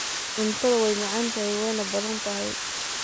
Cuntadha way macanthy wana badantahy.